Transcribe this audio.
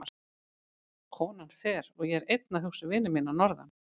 Konan fer og ég er einn að hugsa um vini mína að norðan.